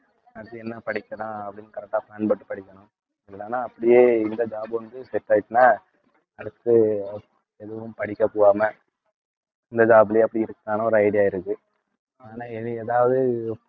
அடுத்து என்ன படிக்கலாம் அப்படின்னு correct ஆ plan போட்டு படிக்கணும், இல்லைன்னா அப்படியே இந்த job வந்து set ஆயிடுச்சுன்னா அடுத்து எதுவும் படிக்கப் போகாம இந்த job லயே அப்படி இருக்கலாம்ன்னு ஒரு idea இருக்கு ஆனா இனி ஏதாவது